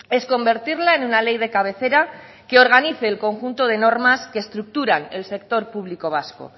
es convertirla en una ley de cabecera que organice el conjunto de normas que estructuran el sector público vasco